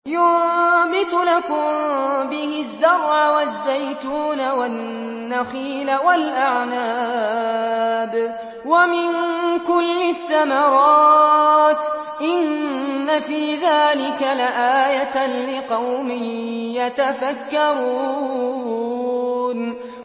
يُنبِتُ لَكُم بِهِ الزَّرْعَ وَالزَّيْتُونَ وَالنَّخِيلَ وَالْأَعْنَابَ وَمِن كُلِّ الثَّمَرَاتِ ۗ إِنَّ فِي ذَٰلِكَ لَآيَةً لِّقَوْمٍ يَتَفَكَّرُونَ